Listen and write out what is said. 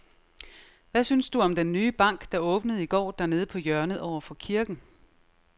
Hvad synes du om den nye bank, der åbnede i går dernede på hjørnet over for kirken?